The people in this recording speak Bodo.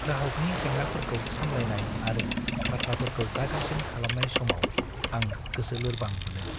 ग्राहकनि जेंनाफोरखौ सामलायनाय आरो बाथ्राफोरखौ गाज्रिसिन खालामनाय समाव आं गोसो लोरबां मोनो।